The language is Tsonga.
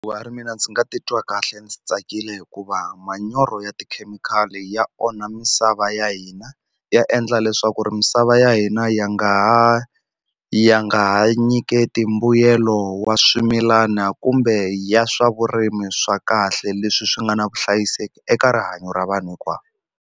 a ri mina ndzi nga titwa kahle ndzi tsakile hikuva manyoro ya tikhemikhali ya onha misava ya hina ya endla leswaku ri misava ya hina ya nga ha ya nga ha nyiketi mbuyelo wa swimilana kumbe ya swa vurimi swa kahle leswi swi nga na vuhlayiseki eka rihanyo ra vanhu hinkwavo.